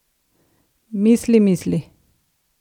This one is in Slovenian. Misli, misli!